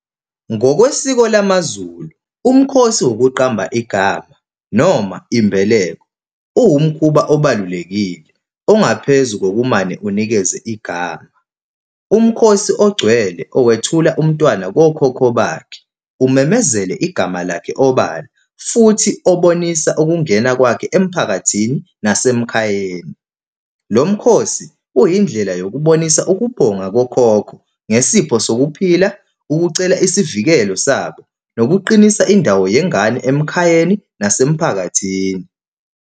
Ngokwesiko lamaZulu, umkhosi wokuqamba igama noma imbeleko. Uwumkhuba obalulekile ongaphezu kokumane unikeze igama. Umkhosi ogcwele owethula umntwana kokhokho bakhe, umemezele igama lakhe obala, futhi obonisa ukungena kwakhe emphakathini nasemkhayeni. Lo mkhosi uyindlela yokubonisa ukubonga kokhokho ngesipho sokuphila, ukucela isivikelo sabo, nokuqinisa indawo yengane emakhayeni nasemphakathini.